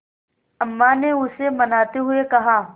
अम्मा ने उसे मनाते हुए कहा